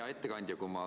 Hea ettekandja!